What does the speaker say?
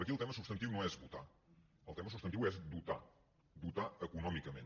aquí el tema substantiu no és votar el tema substantiu és dotar dotar econòmicament